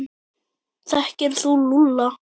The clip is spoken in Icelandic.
Þekkir þú Lúlla?